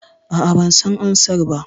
A'a, ban san ansar ba.